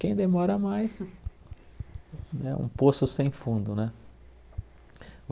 Quem demora mais, né um poço sem fundo, né?